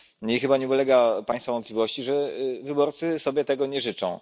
I chyba nie ulega Państwa wątpliwości, że wyborcy sobie tego nie życzą.